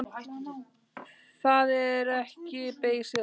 Það er ekki beysið ástand.